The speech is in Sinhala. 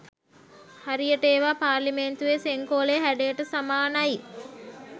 හරියට ඒවා පාර්ලිමේන්තුවේ සෙංකෝලයේ හැඩයට සමානයි.